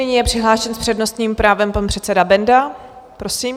Nyní je přihlášen s přednostním právem pan předseda Benda, prosím.